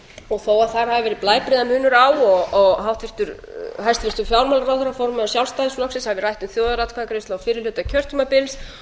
og þó að þar hafi verið blæbrigðamunur á og hæstvirtur fjármálaráðherra formaður sjálfstæðisflokksins hafi rætt um þjóðaratkvæðagreiðslu á fyrri hluta kjörtímabils